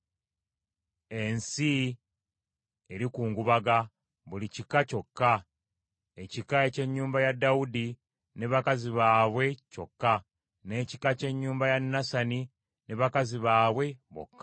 Ensi erikungubaga, buli kika kyokka; ekika eky’ennyumba ya Dawudi ne bakazi baabwe kyokka, n’ekika ky’ennyumba ya Nasani ne bakazi baabwe bokka;